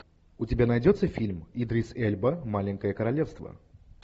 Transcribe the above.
у тебя найдется фильм идрис эльба маленькое королевство